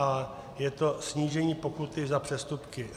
A je to snížení pokuty za přestupky.